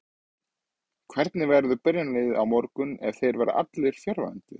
Hvernig verður byrjunarliðið á morgun ef þeir verða allir fjarverandi?